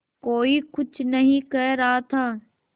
कोई कुछ नहीं कह रहा था